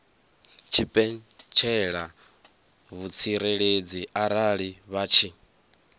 tshipentshela vhutsireledzi arali vha tshi